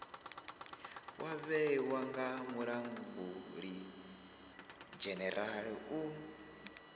wa vhewa nga mulangulidzhenerala u